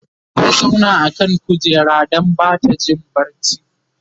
ta zauna a kan kujera Dan Bata Jin barci